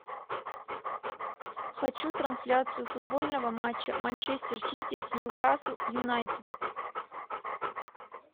хочу трансляцию футбольного матча манчестер сити с ньюкасл юнайтед